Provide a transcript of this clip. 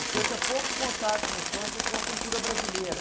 O senhor tinha pouco contato na infância com a cultura brasileira.